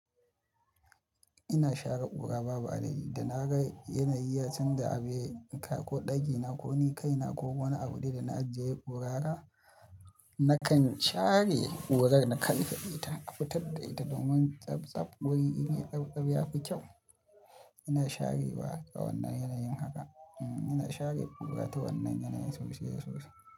Ina share ƙura babu adadi da na ga yanayi, ya canja abu yai kai ko ɗakina ko nikaina ko wani abu da na ajiye yai ƙura haka, nakan share ƙurar na karkaɗe ta, na fitar da ita domin tsabtsab wuri in, ya tsabtsab ya fi kyau. Ina share wa a wannan yanayin haka. Ina share ƙura ta wannan yanayin sosai da sosai.